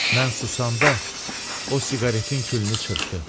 Mən susanda o siqaretin külünü çırptı.